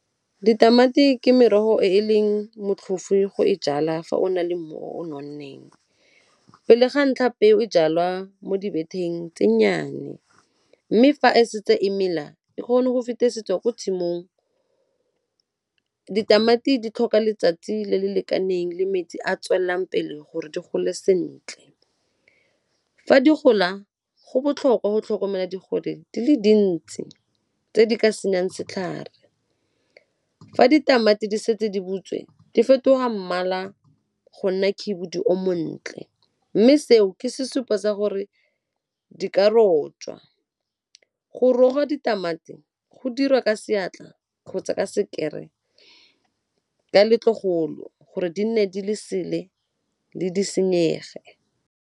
Ditamati ke merogo e e leng motlhofu go e jala fa o na le mmu o nonneng. Pele ga ntlha peo e jalwa mo dibetheng tse nnyane mme fa e setse e mela e kgone go fetisetswa ko tshimong. Ditamati di tlhoka letsatsi le le lekaneng le metsi a tswelelang pele gore di gole sentle. Fa di gola go botlhokwa go tlhokomela digole di le dintsi tse di ka senyang setlhare. Fa ditamati di setse di butswe di fetoga mmala go nna khibidu o montle mme seo ke sesupo sa gore di ka rojwa. Go ga ditamati go dirwa ka seatla kgotsa ka sekere letlogolo gore di nne di le sele le di senyege.